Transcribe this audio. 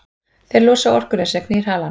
þeir losa orkuna sem knýr halann